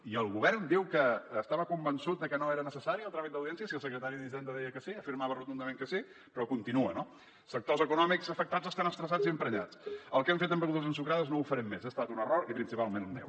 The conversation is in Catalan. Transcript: i el govern diu que estava convençut que no era necessari el tràmit d’audiència si el secretari d’hisenda deia que sí afirmava rotundament que sí però continua no sectors econòmics afectats estan estressats i emprenyats el que hem fet amb begudes ensucrades no ho farem més ha estat un error i principalment meu